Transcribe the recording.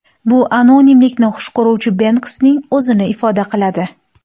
Bu anonimlikni xush ko‘ruvchi Benksining o‘zini ifoda qiladi.